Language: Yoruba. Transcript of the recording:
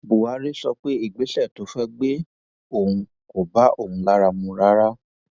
buhari sọ pé ìgbésẹ tó fẹẹ gbé ohùn kò bá òun lára mu rárá